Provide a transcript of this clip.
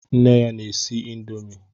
Nne ya na-esi índomi.